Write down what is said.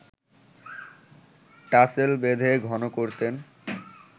tassel বেঁধে ঘন করতেন